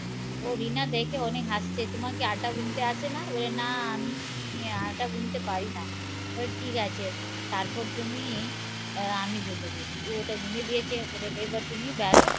ও রিনা দেখে অনেক হাসছে তোমার কি আটা গুনতে আসে না? বলে না আমি আটা গুনতে পরি না বলে ঠিক আছে তারপর তুমি আমি বলে দিয়েছি ও ওটা গুনে দিয়েছে এবার তুমি বেলো